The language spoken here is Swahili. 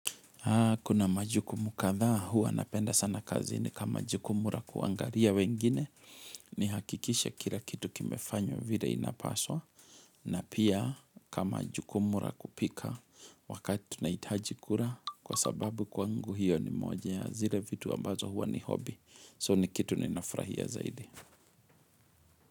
Kuna majukumu kadhaa huwa napenda sana kazini kama jukumu ra kuangaria wengine ni hakikishe kila kitu kimefanywo vile inapaswa na pia kama jukumu ra kupika wakati tunahitaji kura kwa sababu kwangu hiyo ni moja ya zile vitu ambazo huwa ni hobi so ni kitu nina furahia zaidi.